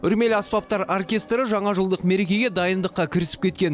үрмелі аспаптар оркестрі жаңажылдық мерекеге дайындыққа кірісіп кеткен